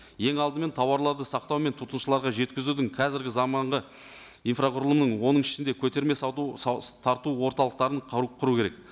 ең алдымен тауарларды сақтау мен тұтынушыларға жеткізудің қазіргі заманғы инфрақұрылымын оның ішінде көтерме сауда тарту орталықтарын құру керек